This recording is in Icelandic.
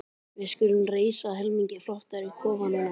Við skulum reisa helmingi flottari kofa núna.